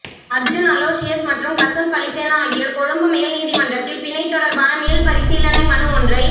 Arjun Aloysius மற்றும் கசுன் பலிசேன ஆகியோர் கொழும்பு மேல் நீதிமன்றத்தில் பிணை தொடர்பான மீள்பரிசீலனை மனு ஒன்றை